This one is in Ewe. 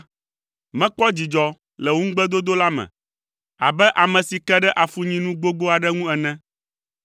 Mekpɔ dzidzɔ le wò ŋugbedodo la me abe ame si ke ɖe afunyinu gbogbo aɖe ŋu ene.